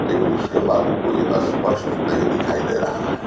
लेकिन उसके बाद कोई अस्पष्ट नहीं दिखाई दे रहा है।